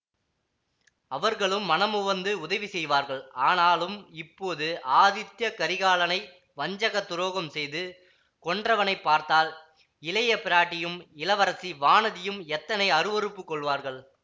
அவர்களும் மனமுவந்து உதவி செய்வார்கள் ஆனாலும் இப்போது ஆதித்ய கரிகாலனை வஞ்சகத் துரோகம் செய்து கொன்றவனைப் பார்த்தால் இளைய பிராட்டியும் இளவரசி வானதியும் எத்தனை அருவருப்புக் கொள்வார்கள்